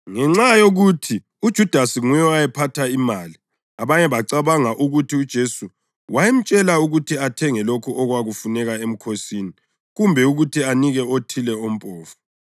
Ngenxa yokuthi uJudasi nguye owayephatha imali, abanye bacabanga ukuthi uJesu wayemtshela ukuthi athenge lokho okwakuzafuneka emkhosini kumbe ukuthi anike okuthile kwabampofu.